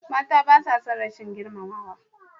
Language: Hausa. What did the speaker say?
Mata basa son rashin girmamawa.